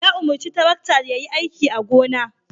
Ya umarci tarakta ya yi aiki a gona.